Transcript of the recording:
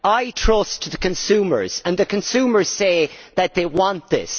I trust the consumers, and the consumers say that they want this.